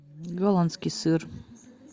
голландский сыр